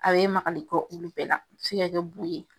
A bɛ maligali kɛ olu bɛɛ la, a bɛ se ka kɛ bu ye.